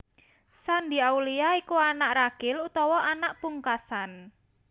Shandy Aulia iku anak ragil utawa anak pungkasan